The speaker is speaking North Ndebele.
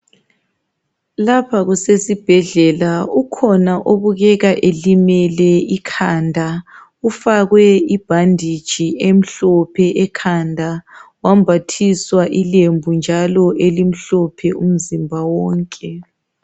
Lapha kusesibhedlela ukhona obukeka elimele ikhanda ufakwe ibhanditshi emhlophe ekhanda wambathiswa ilembu njalo elimhlophe umzimba wonke.